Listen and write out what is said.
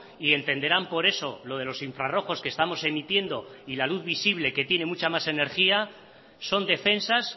y entenderán por eso lo de los infrarrojos que estamos emitiendo y la luz visible que tiene mucha más energía son defensas